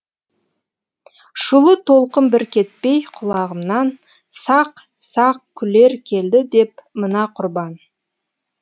шулы толқын бір кетпей құлағымнан сақ сақ күлер келді деп мына құрбан